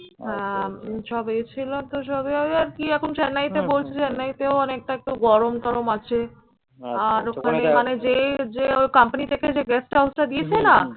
সবাই ছিলো। তো চেন্নাইতে বলছে চেন্নাইতেও অনেকটা একটু গরম টরম আছে আর ওখানে যে যে ওর company থেকে যে guest house টা দিয়েছে না?